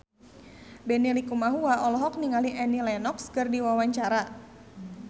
Benny Likumahua olohok ningali Annie Lenox keur diwawancara